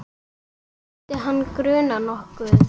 Skyldi hana gruna nokkuð?